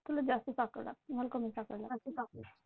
तुला जास्त साखर लागती, मला कमी साखर लागती.